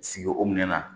Sigi o minɛn na